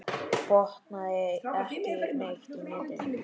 Botnaði ekki neitt í neinu.